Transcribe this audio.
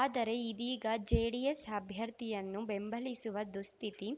ಆದರೆ ಇದೀಗ ಜೆಡಿಎಸ್‌ ಅಭ್ಯರ್ಥಿಯನ್ನು ಬೆಂಬಲಿಸುವ ದುಸ್ಥಿತಿ